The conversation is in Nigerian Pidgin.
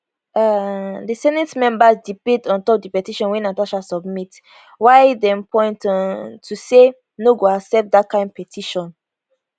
um di senate members debate ontop di petition wey natasha submit wia dem point um out to say no go accept dat kain petition